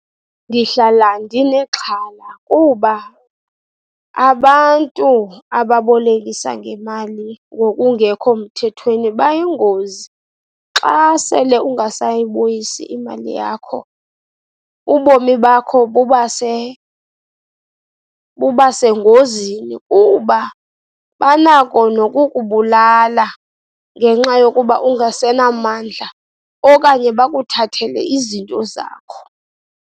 Ndihlala ndinexhala kuba abantu ababolekisa ngemali ngokungekho mthethweni bayingozi. Xa sele ungasayibuyisi imali yakho, ubomi bakho buba buba sengozini kuba banako nokukubulala ngenxa yokuba ungasenamandla, okanye bakuthathele izinto zakho.